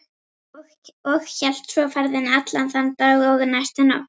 Og hélt svo ferðinni allan þann dag og næstu nótt.